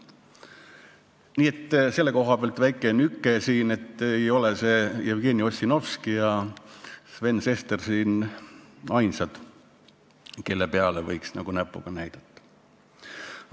Nii et selle koha pealt väike nüke siin, et ei ole Jevgeni Ossinovski ja Sven Sester siin ainsad, kelle peale võiks näpuga näidata.